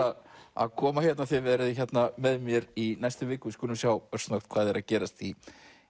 að að koma og þið verðið með mér í næstu viku við skulum sjá örsnöggt hvað er að gerast í